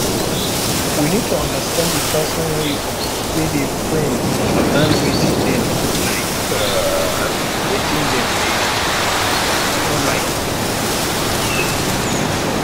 we need to understand di person wey we dey friend and learn wetin dem like and wetin dem dem no like